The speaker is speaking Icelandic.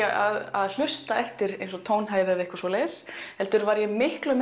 að hlusta eftir tónhæð eða einhverju svoleiðis heldur miklu